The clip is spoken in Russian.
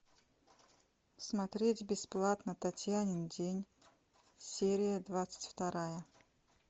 смотреть бесплатно татьянин день серия двадцать вторая